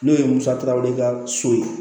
N'o ye musakaw de ka so ye